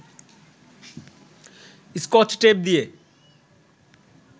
Scotch tape দিয়ে